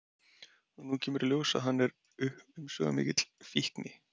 Og nú kemur í ljós að hann er umsvifamikill fíkni